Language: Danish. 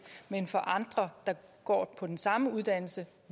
mens andre der går på den samme uddannelse